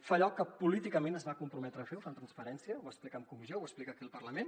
fa allò que políticament es va comprometre a fer ho fa amb transparència ho va explicar en comissió ho explica aquí al parlament